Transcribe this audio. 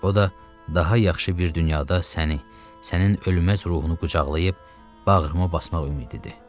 O da daha yaxşı bir dünyada səni, sənin ölməz ruhunu qucaqlayıb bağrıma basmaq ümididir.